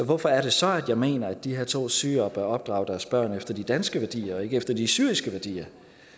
hvorfor er det så at jeg mener at de her to syrere bør opdrage deres børn efter de danske værdier og ikke efter de syriske værdier